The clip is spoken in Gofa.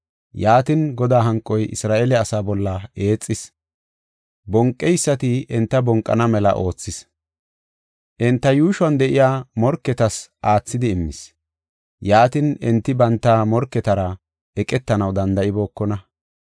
Yaatin, Godaa hanqoy Isra7eele asaa bolla eexis; bonqeysati enta bonqana mela oothis. Enta yuushuwan de7iya morketas aathidi immis. Yaatin, enti banta morketara eqetanaw danda7ibookona.